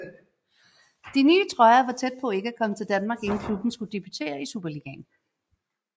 De nye trøjer var tæt på at ikke komme til Danmark inden klubben skulle debutere i Superligaen